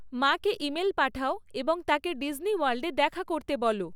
মাকে ইমেল পাঠাও এবং তাঁকে ডিজনি ওয়ার্ল্ডে দেখা করতে বলো